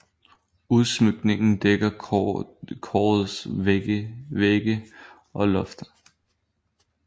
Udsmykningen dækker korets vægge og loft